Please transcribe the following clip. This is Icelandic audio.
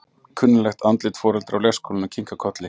Kunnugleg andlit foreldra úr leikskólanum kinka kolli.